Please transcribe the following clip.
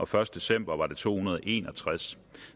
første december var det to hundrede og en og tres